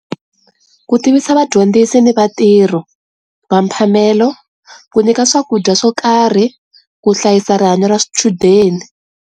Ku tivisa vadyondzisi ni vatirhi va mphamelo ku nyika swakudya swo karhi ku hlayisa rihanyo ra swichudeni.